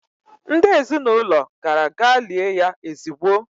Ndị ezinaụlọ gara gaa lie ya ezigbo.